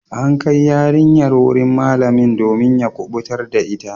An kai yarinyar wurin malamin domin ya kubutar da ita.